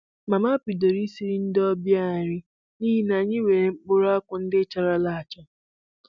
Mama bidoro isiri ndị ọbịa nri n'ihi na anyị nwere mkpụrụakwụ ndị charala acha